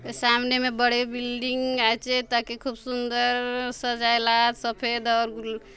सामने में बड़े बिल्डिंग आछे ताके खूब सुन्दर सजाय लाआत सफ़ेद और--